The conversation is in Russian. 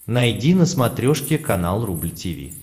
найди на смотрешке канал рубль ти ви